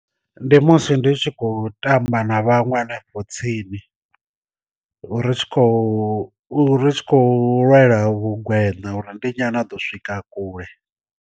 Ndi musi ndi tshi khou tamba na vhanwe hanefho tsini ri tshi khou ri tshi khou lwela vhu gwena uri ndi nyi a no ḓo swika kule.